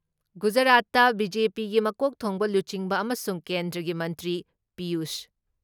ꯒꯨꯖꯔꯥꯠꯇ ꯕꯤ.ꯖꯦ.ꯄꯤꯒꯤ ꯃꯀꯣꯛ ꯊꯣꯡꯕ ꯂꯨꯆꯤꯡꯕ ꯑꯃꯁꯨꯡ ꯀꯦꯟꯗ꯭ꯔꯒꯤ ꯃꯟꯇ꯭ꯔꯤ ꯄꯤꯌꯨꯁ